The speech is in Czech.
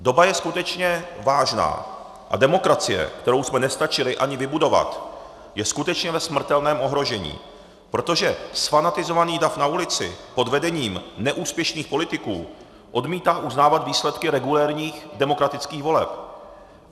Doba je skutečně vážná a demokracie, kterou jsme nestačili ani vybudovat, je skutečně ve smrtelném ohrožení, protože zfanatizovaný dav na ulici pod vedením neúspěšných politiků odmítá uznávat výsledky regulérních demokratických voleb.